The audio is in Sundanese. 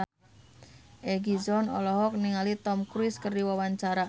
Egi John olohok ningali Tom Cruise keur diwawancara